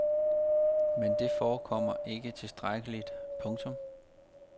Men dette forekommer ikke tilstrækkeligt. punktum